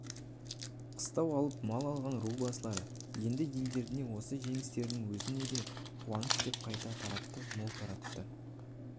қыстау алып мал алған ру басылар енді елдеріне осы жеңістерінің өзін де қуаныш деп қайта таратты мол таратты